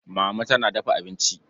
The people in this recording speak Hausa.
Mama tana dafa abinci.